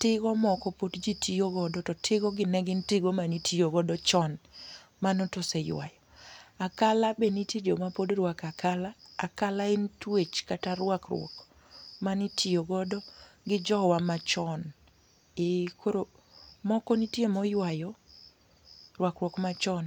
tigo moko pod ji tiyo godo to tigo gi ne gin tigo ma ne itiyo godo chon mano to oseywayo. Akala be nitie jo ma pod rwako akala, akala en twech kata rwakruok ma ne itiyo godo gi jowa ma chon koro moko nitie ma oywayo rwakruok ma chon.